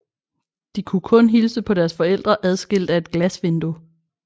De kunne kun hilse på deres forældre adskilt af et glasvindue